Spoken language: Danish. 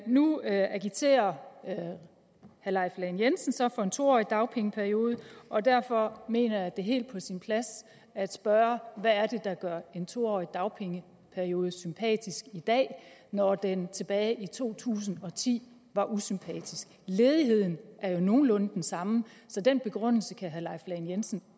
nu agiterer herre leif lahn jensen så for en to årig dagpengeperiode og derfor mener jeg at det er helt på sin plads at spørge hvad der gør en to årig dagpengeperiode sympatisk i dag når den tilbage i to tusind og ti var usympatisk ledigheden er jo nogenlunde den samme så den begrundelse kan herre leif lahn jensen